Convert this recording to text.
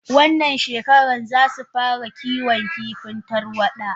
Wannan shekaran zasu fara Kiwon kifin tarwada.